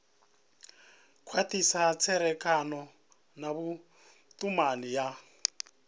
khwathisa tserekano na vhutumani ya